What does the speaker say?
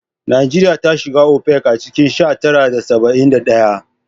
Najeriya ta shiga OPEC a cikin sha tara da saba'in da ɗaya